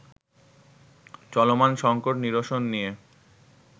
চলমান সঙ্কট নিরসন নিয়ে